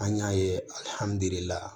An y'a ye